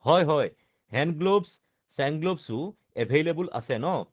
হয় হয় hand gloves chain gloves available আছে ন